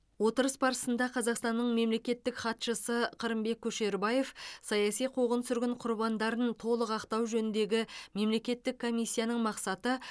отырыс барысында қазақстанның мемлекеттік хатшысы қырымбек көшербаев саяси қуғын сүргін құрбандарын толық ақтау жөніндегі мемлекеттік комиссияның мақсаты